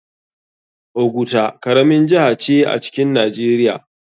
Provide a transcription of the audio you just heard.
Oguta karamin jiha ce a cikin nijeria.